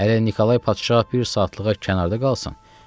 Hələ Nikolay padşah bir saatlığa kənarda qalsın.